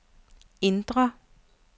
indre